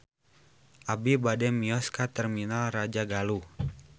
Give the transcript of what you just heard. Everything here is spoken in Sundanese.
Abi bade mios ka Terminal Rajagaluh